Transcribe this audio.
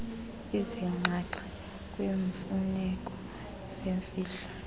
izinxaxhi kwimfuneko yemfihlo